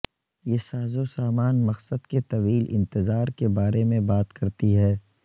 یہ سازوسامان مقصد کے طویل انتظار کے بارے میں بات کرتی ہے